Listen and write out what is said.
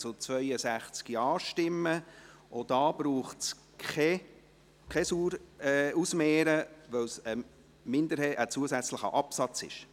Auch hier braucht es kein weiteres Ausmehren, weil es ein zusätzlicher Absatz ist.